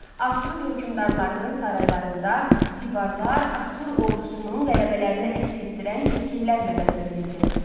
Asur hökmdarlarının saraylarında divarlar Asur ordusunun qələbələrini əks etdirən şəkillərlə bəzədilirdi.